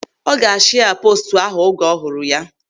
Ọ ga-ashia poostu ahụ oge ọ hụrụ ya.